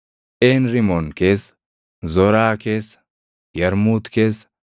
Een Rimoon keessa, Zoraa keessa, Yarmuut keessa,